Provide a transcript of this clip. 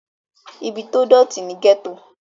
ibi tó dọ̀tí ni gẹ́tò